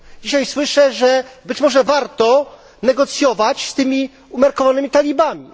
Dzisiaj słyszę, że być może warto negocjować z tymi umiarkowanymi talibami.